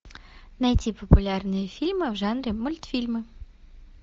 найти популярные фильмы в жанре мультфильмы